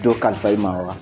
Dɔɔ kalifa in ma wa